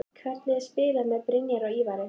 Hvernig er að spila með Brynjari og Ívari?